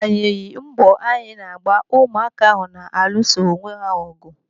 Agbanyeghi mbọ anyị na-agba ụmụaka ahụ na-alụso onwe ha ọgụ.